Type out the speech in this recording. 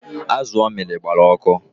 Azu o miri gbara ọkụ